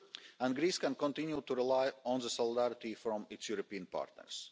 And Greece can continue to rely on the solidarity of its European partners.